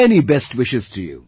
Many best wishes to you